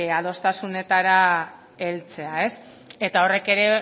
adostasunetara heltzea eta horrek ere